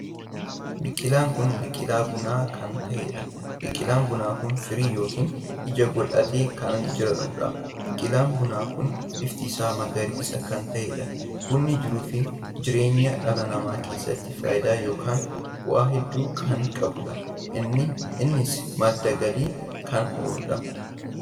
Biqilaan kun biqilaa bunaa kan taheedha. biqilaan bunaa kun firii yookiin ija godhatee kan jiruudha. biqilaan bunaa kun bifti isaa magariisa kan taheedha. bunni jiruu fi jireenya dhala namaa keessatti faayidaa ykn bu'aa hedduu kan qabuudha. innis madda galii kan ooludha.